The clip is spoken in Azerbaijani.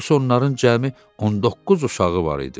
Daha doğrusu onların cəmi 19 uşağı var idi.